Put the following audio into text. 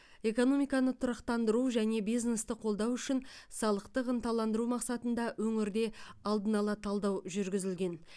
экономиканы тұрақтандыру және бизнесті қолдау үшін салықтық ынталандыру мақсатында өңірде алдын ала талдау жүргізілген